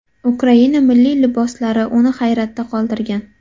Ukraina milliy liboslari uni hayratda qoldirgan.